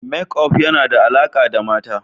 Makeup yana da alaƙa da mata.